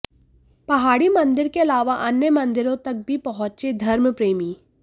पहाड़ी मंदिर के अलावा अन्य मंदिरों तक भी पहुंचे धर्मप्रेमी